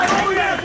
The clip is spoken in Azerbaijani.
Hə, gəl, gəl.